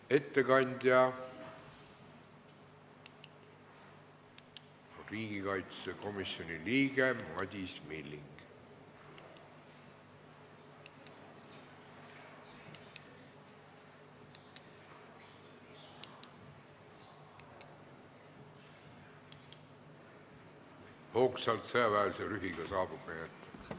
Ettekandja on riigikaitsekomisjoni liige Madis Milling, kes hoogsalt ja sõjaväelise rühiga saabub meie ette.